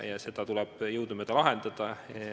Seda tuleb jõudumööda lahendada.